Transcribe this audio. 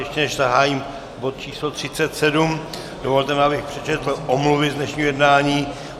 Ještě než zahájím bod číslo 37, dovolte mi, abych přečetl omluvy z dnešního jednání.